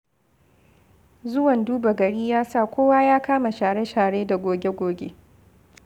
Zuwan duba-gari ya sa kowa ya kama share-share da goge-goge.